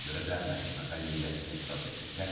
Buna görə də məhkəmə kollegiyasına etiraz edir.